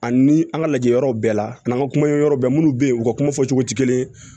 Ani an ka lajɛyɔrɔw bɛɛ la an ka kuma ye yɔrɔ bɛɛ minnu bɛ yen u ka kuma fɔcogo tɛ kelen ye